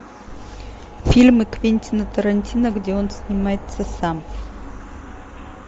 фильмы квентина тарантино где он снимается сам